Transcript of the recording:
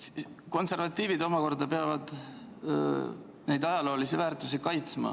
Konservatiivid omakorda peavad kaitsma neid ajaloolisi väärtusi.